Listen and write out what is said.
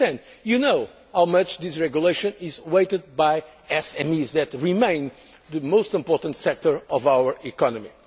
rate of 8. You know how much this regulation is awaited by SMEs that remain the most important sector of our